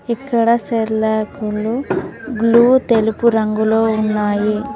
ఇక్కడ సెర్లాక్ లు గ్లూ తెలుపు రంగులో ఉన్నాయి.